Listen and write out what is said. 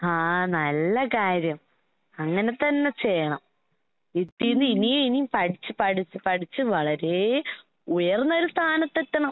ഹാ നല്ല കാര്യം. അങ്ങനെ തന്നെ ചെയ്യണം. ഇതീന്ന് ഇനിയും ഇനിയും പഠിച്ച് പഠിച്ച് പഠിച്ച് വളരേ ഉയർന്നൊരു സ്ഥാനത്തെത്തണം.